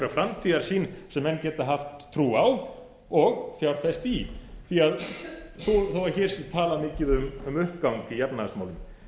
framtíðarsýn sem menn gætu haft trú á og fjárfest í þó að hér sé tala mikið um uppgang í efnahagsmálum